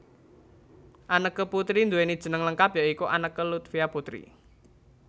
Anneke Putri nduwèni jeneng lengkap ya iku Anneke Lutfia Puteri